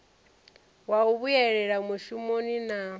wa u vhuyela mushumoni na